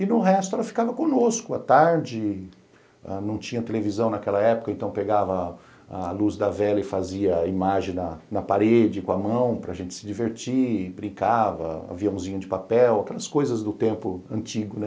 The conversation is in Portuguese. E no resto ela ficava conosco, à tarde não tinha televisão naquela época, então pegava a luz da vela e fazia imagem na parede com a mão, para gente se divertir, brincava, aviãozinho de papel, aquelas coisas do tempo antigo, né.